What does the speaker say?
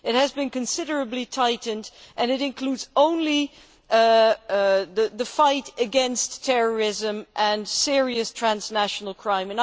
It has been considerably tightened, and includes only the fight against terrorism and serious transnational crime.